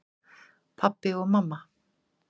Pabbi og mamma